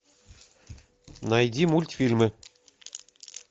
найди мультфильмы